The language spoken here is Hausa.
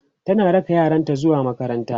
tana raka yaranta zuwa makaranta